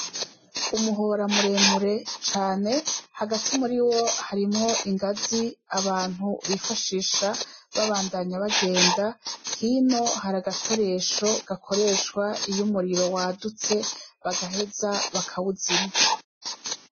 Umuhora muremure cane, hagati muriwo harimw'ingaz'abantu bifashisha babandanya bagenda, hino haragakoresho bakoresh'iy'umuriro wadutse bagaheza bakawuzimya.